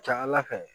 Ca ala fɛ